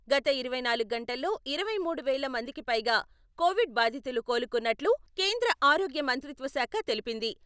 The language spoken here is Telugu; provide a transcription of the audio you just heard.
గత ఇరవై నాలుగు గంటల్లో ఇరవై మూడు వేల మందికిపైగా కోవిడ్ బాధితులు కోలుకున్నట్టు కేంద్ర ఆరోగ్య మంత్రిత్వ శాఖ తెలిపించింది.